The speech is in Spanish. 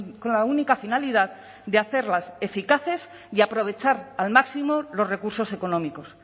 con la única finalidad de hacerlas eficaces y aprovechar al máximo los recursos económicos